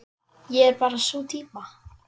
Ég er bara sú týpa.